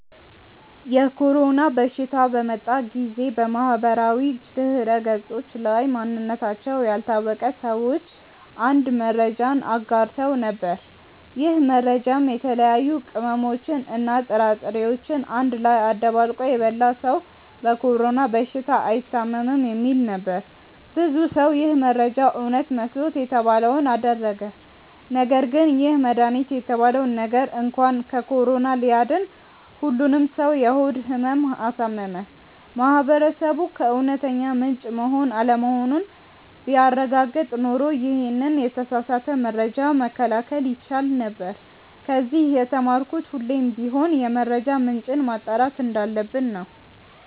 የኮሮና በሽታ በመጣ ጊዜ በማህበራዊ ድህረገጾች ላይ ማንነታቸው ያልታወቀ ሰዎች አንድ መረጃን አጋርተው ነበር። ይህ መረጃም የተለያዩ ቅመሞችን እና ጥራጥሬዎችን አንድ ላይ አደባልቆ የበላ ሰው በኮሮና በሽታ አይታምም የሚል ነበር። ብዙ ሰው ይህ መረጃ እውነት መስሎት የተባለውን አደረገ ነገርግን ይህ መድሃኒት የተባለው ነገር እንኳን ከኮሮና ሊያድን ሁሉንም ሰው የሆድ ህመም አሳመመ። ማህበረሰቡ ከእውነተኛ ምንጭ መሆን አለመሆኑን ቢያረጋግጥ ኖሮ ይሄንን የተሳሳተ መረጃ መከላከል ይቻል ነበር። ከዚ የተማርኩት ሁሌም ቢሆን የመረጃ ምንጭን ማጣራት እንዳለብን ነው።